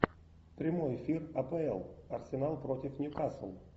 прямой эфир апл арсенал против ньюкасл